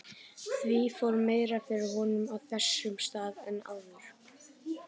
Því fór meira fyrir honum á þessum stað en áður.